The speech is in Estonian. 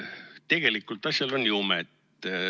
Tegelikult, asjal on jumet.